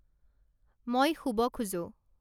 মই শুব খোজোঁ